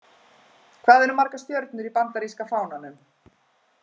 Hvað eru margar stjörnur í Bandaríska fánanum?